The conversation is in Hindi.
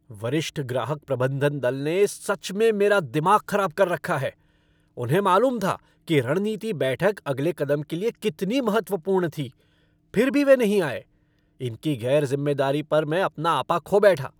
वरिष्ठ ग्राहक प्रबंधन दल ने सच में मेरा दिमाग ख़राब कर रखा है। उन्हें मालूम था कि रणनीति बैठक अगले कदम के लिए कितनी महत्वपूर्ण थी फ़िर भी वे नहीं आए। इनकी गैर ज़िम्मेदारी पर मैं अपना आपा खो बैठा।